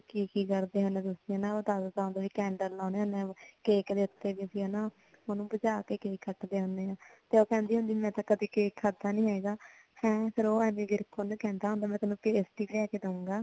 birthday ਤੇ ਕੀ ਕਰਦੇ ਹੁਣੇ ਆ ਤੁਸੀਂ ਉਹ ਦਸਦਾ ਹੁੰਦਾ ਵੀ candle ਲਾਉਣੇ ਹੁਣੇ ਆ cake ਦੇ ਉੱਤੇ ਉਹਨੂੰ ਬੁਝਾ ਕੇ cake ਕੱਟਦੇ ਹੁਣੇ ਆ ਤੇ ਉਹ ਕਹਿੰਦੀ ਹੁੰਦੀ ਆ ਮੈਂ ਤਾਂ ਕਦੇ cake ਖਾਦਾ ਨੀ ਹੈਗਾ ਹਮ ਫ਼ਿਰ ਉਹ ਐਮੀ ਵਿਰਕ ਉਹਨੂੰ ਕਹਿੰਦਾ ਹੁੰਦਾ ਮੈਂ ਤੈਨੂੰ ਪੇਸਟੀ ਲਿਆ ਕੇ ਦੇਹਉਗਾ